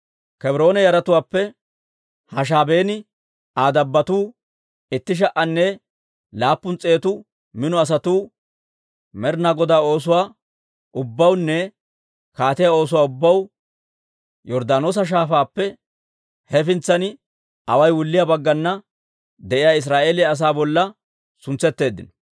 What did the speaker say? Kebroone yaratuwaappe Hashaabeenne Aa dabbotuu, itti sha"anne laappun s'eetu mino asatuu, Med'inaa Godaa oosuwaa ubbawunne kaatiyaa oosuwaa ubbaw Yorddaanoosa Shaafaappe hefintsan away wulliyaa baggana de'iyaa Israa'eeliyaa asaa bolla suntsetteeddino.